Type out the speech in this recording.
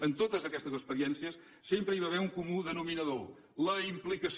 en totes aquestes experiències sempre hi va haver un comú denominador la implicació